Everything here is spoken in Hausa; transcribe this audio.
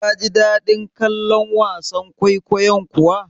Kaji daɗin kallon wasan kwaikwayon kuwa?